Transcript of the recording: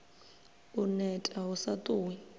u neta hu sa ṱuwi